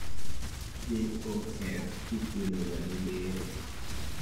JOF ithiedho ga gi bero